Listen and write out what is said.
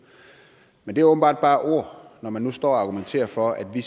men det er åbenbart bare ord når man nu står og argumenterer for at vi